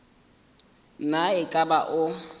na e ka ba o